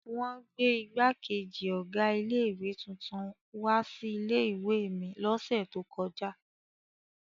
Wọn gbé ìgbákejì ọ̀gá ilé-ìwé tuntun wá sí ilé-ìwé mi lọ́sẹ̀ tó kọjá.